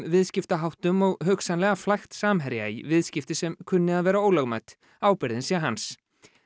viðskiptaháttum og hugsanlega flækt Samherja í viðskipti sem kunni að vera ólögmæt ábyrgðin sé hans